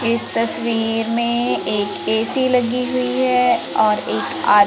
इस तस्वीर में एक ए_सी लगी हुई है और एक आद--